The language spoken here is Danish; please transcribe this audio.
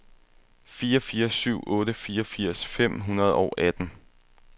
fire fire syv otte fireogfirs fem hundrede og atten